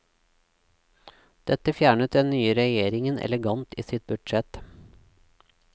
Dette fjernet den nye regjeringen elegant i sitt budsjett.